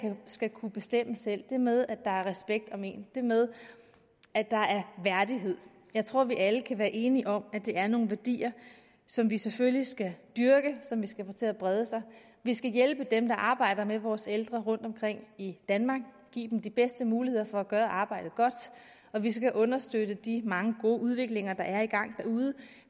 skal kunne bestemme selv det med at der er respekt om en det med at der er værdighed jeg tror vi alle kan være enige om at det er nogle værdier som vi selvfølgelig skal dyrke og som vi skal få til at brede sig vi skal hjælpe dem der arbejder med vores ældre rundtomkring i danmark og give dem de bedste muligheder for at gøre arbejdet godt og vi skal understøtte de mange gode udviklinger der er i gang derude